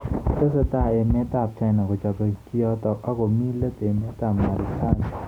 Tesetai emet ab China kochobei kiotok ak komi let emet ab Marekani.